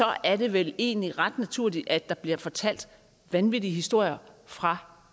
er det vel egentlig ret naturligt at der bliver fortalt vanvittige historier fra